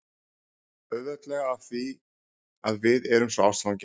Auðveldlega af því að við erum svo ástfangin